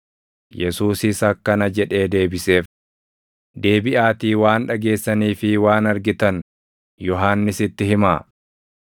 Yesuusis akkana jedhee deebiseef; “Deebiʼaatii waan dhageessanii fi waan argitan Yohannisitti himaa;